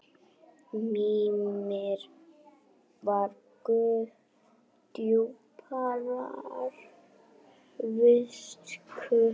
Mímir var guð djúprar visku.